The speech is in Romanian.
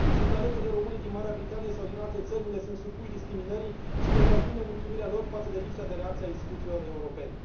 Sunt alături de românii din Marea Britanie sau din alte țări unde sunt supuși discriminării și vă transmit nemulțumirea lor față de lipsa de reacție a instituțiilor europene.